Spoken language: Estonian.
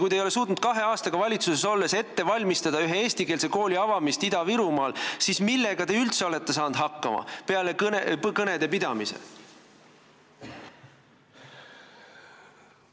Kui te ei ole suutnud kahe aastaga valitsuses olles ette valmistada ühe eestikeelse kooli avamist Ida-Virumaal, siis millega te üldse olete saanud hakkama peale kõnede pidamise?